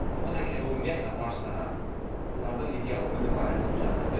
Allah əgər o ümumiyyətlə varsa, onlardan ideal ölüm aləti düzəldib.